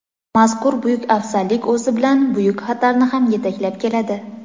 Mazkur buyuk afzallik o‘zi bilan buyuk xatarni ham yetaklab keladi.